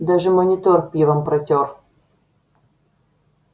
даже монитор пивом протёр